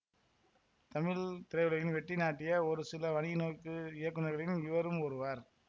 தமிழ் திரையுலகில் வெற்றி நாட்டிய ஒருசில வணிக நோக்கு இயக்குனர்களின் இவரும் ஒருவர்